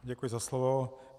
Děkuji za slovo.